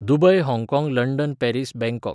Dubai हाँगकाँग London Paris Bangkok